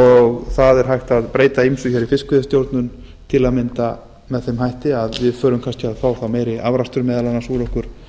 og það er hægt að breyta ýmsu hér í fiskveiðistjórn til að mynda með þeim hætti að við förum kannski að fá þá meiri afrakstur meðal annars úr